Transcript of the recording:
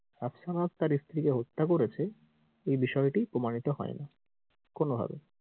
রাফসান হক তার স্ত্রীকে হত্যা করেছে এই বিষয়টি প্রমাণিত হয়না কোনো ভাবেই।